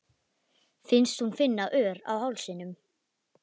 Finnst hún finna ör á hálsinum.